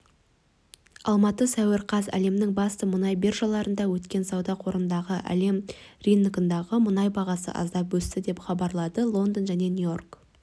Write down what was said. алматы сәуір қаз әлемнің басты мұнай биржаларында өткен сауда қортындысында әлем рыногындағы мұнай бағасы аздап өсті деп хабарлайды лондон және нью-йорк